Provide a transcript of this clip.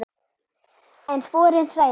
En sporin hræða.